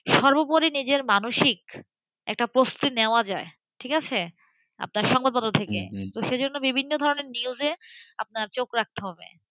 সর্বোপরি নিজের মানসিক প্রস্তুতি একটা নেওয়া যায়ঠিক আছে? আপনার সংবাদপত্র থেকেসেজন্য বিভিন্ন রকম news আপনার চোখ রাখতে হবে,